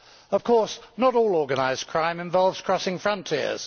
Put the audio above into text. Of course, not all organised crime involves crossing frontiers.